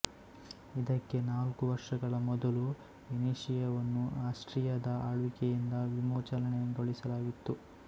ಇದಕ್ಕೆ ನಾಲ್ಕು ವರ್ಷಗಳ ಮೊದಲು ವೆನೀಷಿಯವನ್ನು ಆಸ್ಟ್ರಿಯದ ಆಳ್ವಿಕೆಯಿಂದ ವಿಮೋಚನೆಗೊಳಿಸಲಾಗಿತ್ತು